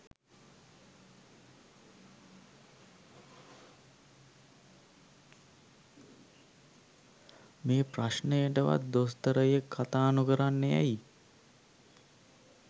මේ ප්‍රශ්නයටවත් දොස්තරයෙක් කතා නොකරන්නේ ඇයි?